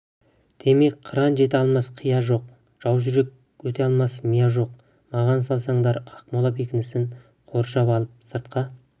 демек қыран жете алмас қия жоқ жаужүрек өте алмас мия жоқ маған салсаңдар ақмола бекінісін қоршап алып сыртқа